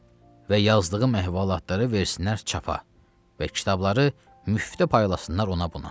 Və yazdığım əhvalatları versinlər çapa və kitabları müftə paylasınlar ona-buna.